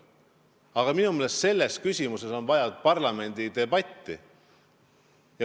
Aga minu meelest on selles küsimuses vaja parlamendi debatti.